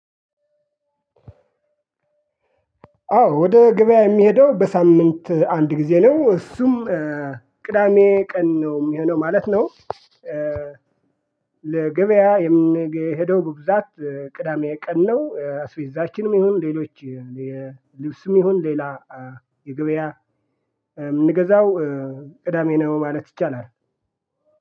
አዎ ወደ ገበያ የሚሄደው በሳምንት አንድ ጊዜ ነው እሱም ቅዳሜ ቀን ነው የሚሆነው ማለት ነው። ለገበያ የምንሄደው በብዛት ቅዳሜ ቀን ነው ስዊዛችንም ይሁን ሌሎች ልብስም ይሁን ሌላ የገበያ ምንገዛው ቅዳሜ ነው። ማለት ይቻላል።